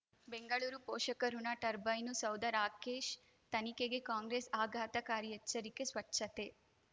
ಬೆಂಗಳೂರು ಪೋಷಕರಋಣ ಟರ್ಬೈನು ಸೌಧ ರಾಕೇಶ್ ತನಿಖೆಗೆ ಕಾಂಗ್ರೆಸ್ ಆಘಾತಕಾರಿ ಎಚ್ಚರಿಕೆ ಸ್ವಚ್ಛತೆ